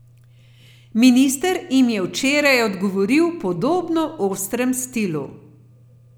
Minister jim je včeraj odgovoril v podobno ostrem stilu.